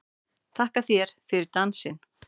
Þakka þér fyrir dansinn!